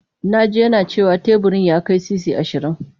Na ji yana cewa teburin ya kai sisi ashirin.